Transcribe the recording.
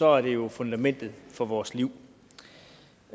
er det jo fundamentet for vores liv